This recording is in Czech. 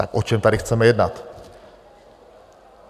Tak o čem tady chceme jednat?